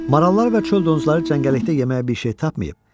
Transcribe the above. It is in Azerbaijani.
Marallar və çöl donuzları cəngəllikdə yeməyə bir şey tapmayıb.